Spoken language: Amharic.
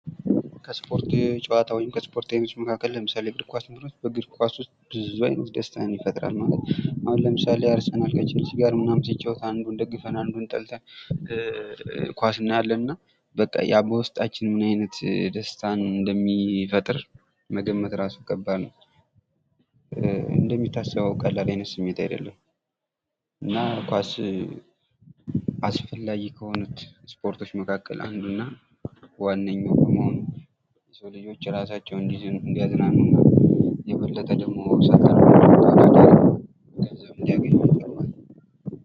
ከስፖርት ውስጥ ለምሳሌ እግር ኳስን ብንወስድ ደስታን ይፈጥራል ።ለምሳሌ የአርሰናል ኳስን እንወስዳለን።